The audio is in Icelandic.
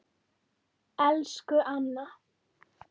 Elsku Anna.